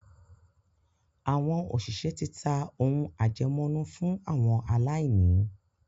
àwọn òṣìṣẹ́ ti ta “ ohun àjẹmọ́nú fún àwọn aláìní ”.